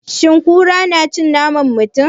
Shin kuraye na cin naman mutum?